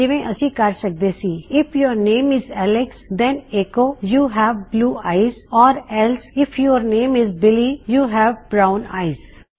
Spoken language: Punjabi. ਜੀਵੇਂ ਅਸੀ ਕਹ ਸਕਦੇ ਸੀ if your name is Alex then echo you have blue eyes ਜਾਂ else if your name is Billy echo you have brown eyes